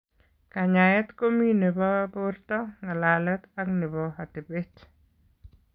Kanyaeet komii nebo bortoo, ng'alalet ak nebo atebet